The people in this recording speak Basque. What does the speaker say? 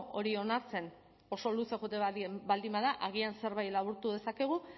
hori onartzen oso luze joaten baldin bada agian zerbait laburtu dezakegu